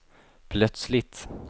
plötsligt